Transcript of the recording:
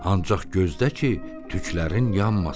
Ancaq gözlə ki, tüklərin yanmasın.